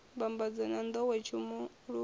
mbambadzo na nḓowetshumo lu ambaho